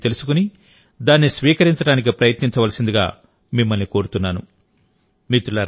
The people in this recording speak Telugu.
మిషన్ లైఫ్ గురించి తెలుసుకుని దాన్ని స్వీకరించడానికి ప్రయత్నించవలసిందిగా మిమ్మల్ని కోరుతున్నాను